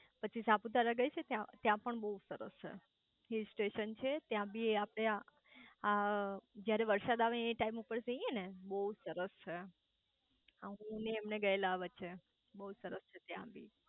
પછી સાપુતારા ગઈ છે ત્યાં પણ બઉ સરસ છે હિલ સ્ટેશન છે ત્યાં બી આપડે આ જયારે વરસાદ આવે એ ટાઈમ ઉપર જઇયે ને બઉ સરસ છે હું ને એમને ગયેલા વચ્ચે બઉ સરસ છે ત્યાં બી